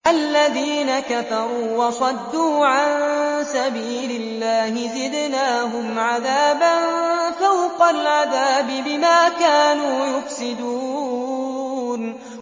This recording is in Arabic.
الَّذِينَ كَفَرُوا وَصَدُّوا عَن سَبِيلِ اللَّهِ زِدْنَاهُمْ عَذَابًا فَوْقَ الْعَذَابِ بِمَا كَانُوا يُفْسِدُونَ